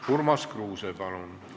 " Urmas Kruuse, palun!